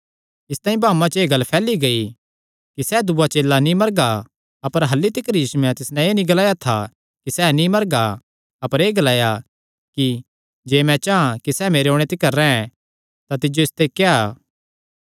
इसतांई भाऊआं च एह़ गल्ल फैली गेई कि सैह़ दूआ चेला नीं मरगा अपर अह्ल्ली तिकर यीशुयैं तिस नैं एह़ नीं ग्लाया था कि सैह़ नीं मरगा अपर एह़ ग्लाया कि जे मैं चां कि सैह़ मेरे ओणे तिकर रैंह् तां तिज्जो इसते क्या